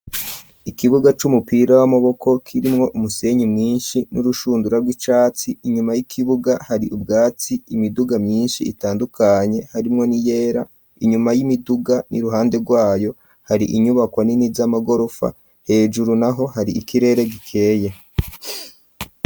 Ikibuga c'umupira w'amaboko kirimwo umusenyi mwinshi n'urushundura rw'icatsi inyuma y'ikibuga hari ubwatsi imiduga myinshi itandukanye harimwo ni yera inyuma y'imiduga n'iruhande rwayo hari inyubako nini z'amagorofa hejuru naho hari ikirere gikeye